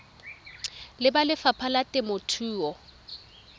le ba lefapha la temothuo